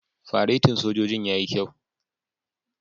Faretin sojojin yayi kyau.